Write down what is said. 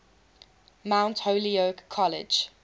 mount holyoke college